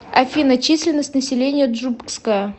афина численность населения джубгская